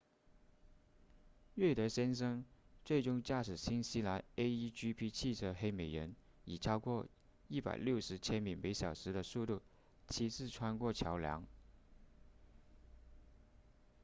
瑞德先生最终驾驶新西兰 a1gp 汽车黑美人以超过160千米每小时的速度七次穿过桥梁